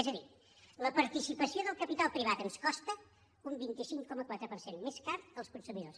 és a dir la participació del capital privat ens costa un vint cinc coma quatre per cent més car als consumidors